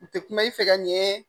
U tɛ kuma i fɛ ka ɲɛ